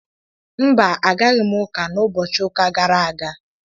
Mba, Agaghị m uka na ubochi uka gara aga